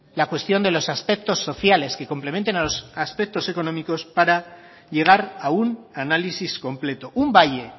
la cuestión de los aspectos sociales que complementen a los aspectos económicos para llegar a un análisis completo un valle